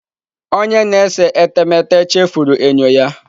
Onye na-ese etemeete chefuru enyo ya.